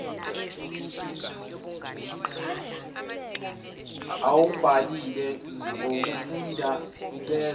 awubhalile ngokuwufunda bezwe